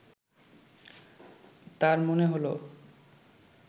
তার মনে হলো